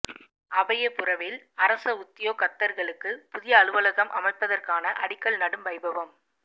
அபயபுரவில் அரச உத்தியோகத்தர்களுக்கு புதிய அலுவலகம் அமைப்பதற்கான அடிக்கல் நடும் வைபவம்